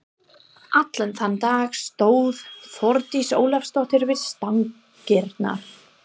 Allan þann dag stóð Þórdís Ólafsdóttir við stangirnar.